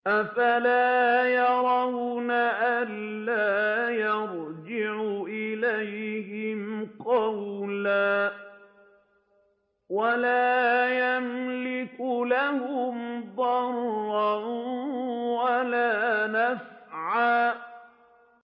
أَفَلَا يَرَوْنَ أَلَّا يَرْجِعُ إِلَيْهِمْ قَوْلًا وَلَا يَمْلِكُ لَهُمْ ضَرًّا وَلَا نَفْعًا